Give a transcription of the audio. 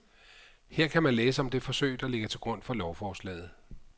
Her kan man læse om det forsøg, der ligger til grund for lovforslaget.